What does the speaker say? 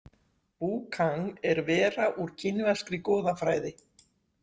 Vu Kang er vera úr kínverskri goðafræði.